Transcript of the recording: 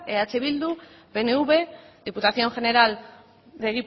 eh bildu pnv